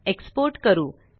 export करू